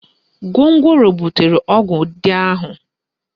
Gwongworo butere ọgụ dị ahụ